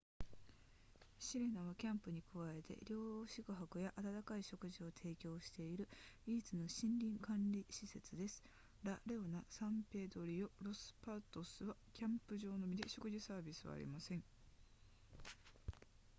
シレナはキャンプに加えて寮宿泊や温かい食事を提供している唯一の森林管理施設ですラレオナサンペドリロロスパトスはキャンプ場のみで食事サービスはありません